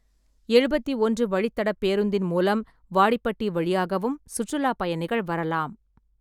எழுபத்தி ஒன்று வழித் தடப் பேருந்தின் மூலம் வாடிப்பட்டி வழியாகவும் சுற்றுலாப் பயணிகள் வரலாம்.